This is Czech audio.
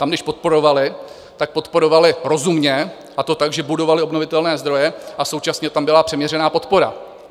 Tam když podporovali, tak podporovali rozumně, a to tak, že budovali obnovitelné zdroje a současně tam byla přiměřená podpora.